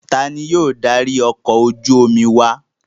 Ta ni yóò darí ọkọ̀ ojú-omi wa?